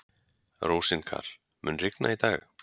Rósinkar, mun rigna í dag?